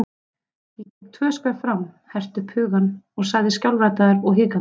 Ég gekk tvö skref fram, herti upp hugann og sagði skjálfraddaður og hikandi